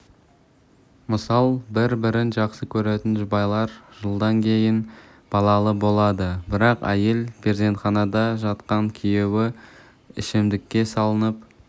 мысал бір-бірін жақсы көретін жұбайлар жылдан кейін балалы болады бірақ әйел перзентханада жатқанда күйеуі ішімдікке салынып